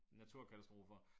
Naturkatastrofer